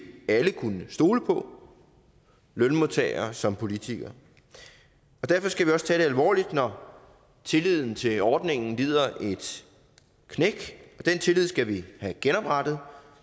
alle kunne stole på lønmodtagere som politikere og derfor skal vi også tage det alvorligt når tilliden til ordningen lider et knæk den tillid skal vi have genoprettet